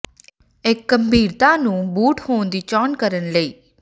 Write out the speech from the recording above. ਇੱਕ ਗੰਭੀਰਤਾ ਨੂੰ ਬੂਟ ਹੋਣ ਦੀ ਚੋਣ ਕਰਨ ਲਈ